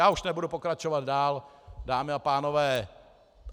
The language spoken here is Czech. Já už nebudu pokračovat dál, dámy a pánové.